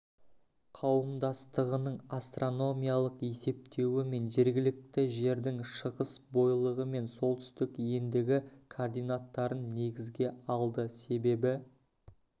қауымдастығының астрономиялық есептеуі мен жергілікті жердің шығыс бойлығы мен солтүстік ендігі координаттарын негізге алды себебі